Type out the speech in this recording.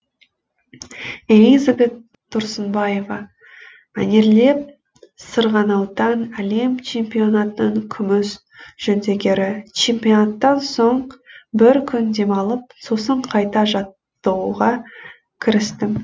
элизабет тұрсынбаева мәнерлеп сырғанаудан әлем чемпионатының күміс жүлдегері чемпионаттан соң бір күн демалып сосын қайта жаттығуға кірістім